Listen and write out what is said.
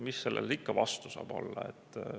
Mis sellele ikka vastu saab olla.